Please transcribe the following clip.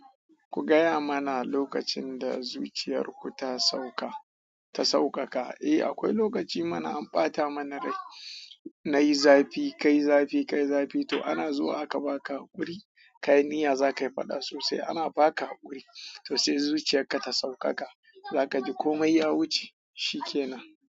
Ku gaya mana lokacin da zuciyar ku ta sauka, ta sauƙaƙa. Eh akwai lokaci mana an ɓata mana rai, nayi zafi, kayi zafi, kayi zafi to ana zuwa aka baka hakuri, kayi niya zaka yi faɗa sosai ana baka hakuri. To sai zuciyar ka ta sauƙaƙa, zaka ji komai ya wuce, shikenan.